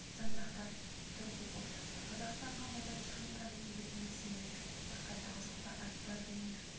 сандырақтап тұр деп ойлады қазақстанға мұндай техниканың келетініне сенген жоқ тіпті қайдағы жоқты айтпа винир